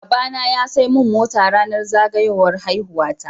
Baba na ya saimin mota rAnar zagayowar haihuwa ta